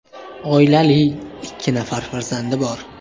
Oilali, ikki nafar farzandi bor.